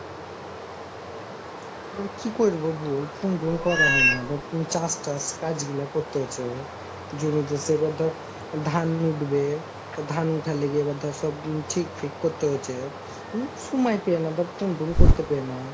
কি করব বোল, phone টন করা হয়না আর চাষ টাস কাজ গুলা করতে হচ্ছে জমিতে ধান উঠবে তো ধান উঠার লেগে এবার ধর সব ঠিক ফিক করতে হচ্ছে, উম সময় পেয়না তোর phone ও করতে পেয়না,